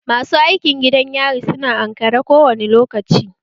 Masu gadin gidan yari su na ankare kowane lokaci